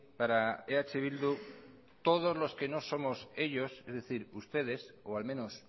para eh bildu todos los que no somos ellos es decir ustedes o al menos